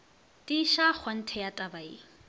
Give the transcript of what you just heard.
tiiša kgonthe ya taba ye